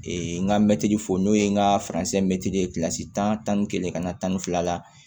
n ka mɛtiri fo n'o ye n ka mɛtiri ye tan ni kelen ka na tan ni fila la